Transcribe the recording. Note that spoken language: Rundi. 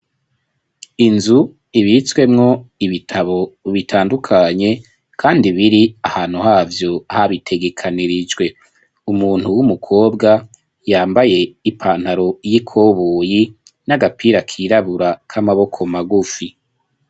Inzu ibitswemwo ibitabo bitandukanye kandi biri ahantu havyo habitegekanirijwe umuntu w'umukobwa yambaye ipantaro y'ikoboyi y'irabura n'agapira kirabura k'amaboko magufi.